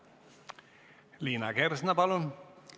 Liina Kersna, palun!